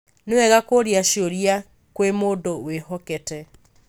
Nĩ wega kũũria ciũria kwĩ mũndũ wĩhokĩtĩ.